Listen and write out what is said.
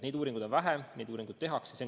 Neid uuringuid on vähe, neid uuringuid alles tehakse.